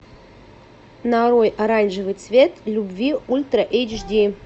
нарой оранжевый цвет любви ультра эйч ди